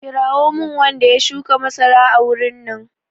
Kirawo min wanda ya shuka masara a wurin nan!